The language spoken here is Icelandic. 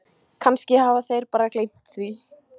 Kannski hafa þeir bara gleymt því.